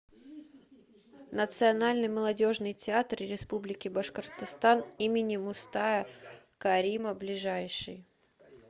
национальный молодежный театр республики башкортостан им мустая карима ближайший